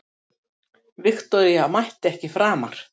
Viktoría mætti ekki framar.